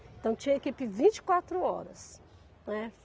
Então tinha equipe vinte e quatro horas, né.